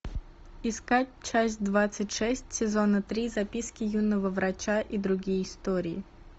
искать часть двадцать шесть сезона три записки юного врача и другие истории